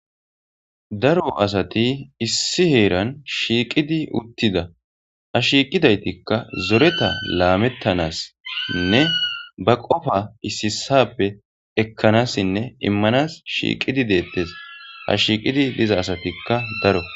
Daro asati issi heeran shiqidi uttidi ha shiqidaytika zoreta lame ba qofa issi issas ekanasine imanas shiqidi de'etesha shiqidi diza asatika daro